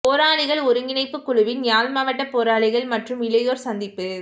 போராளிகள் ஒருங்கிணைப்பு குழுவின் யாழ் மாவட்ட போராளிகள் மற்றும் இளையோர் சந்திப்பு